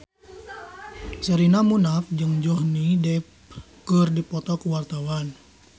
Sherina Munaf jeung Johnny Depp keur dipoto ku wartawan